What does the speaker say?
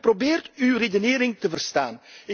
Ik heb geprobeerd uw redenering te verstaan.